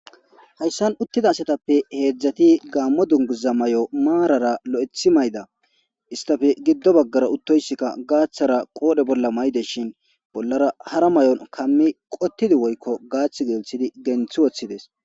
Hayssan uttida asatappe heedzdzati gaammo dunguza mayo maarara loethi mayda istafe giddo baggara uttoyssikka gaaththara qoodhe bolla mayde shin bollara hara mayon kammi qottidi woykko gaath gesthidi genthi woththides.